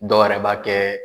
Dɔwɛrɛ b'a kɛ